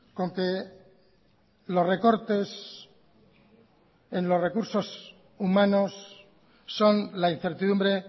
con que los recortes en los recursos humanos son la incertidumbre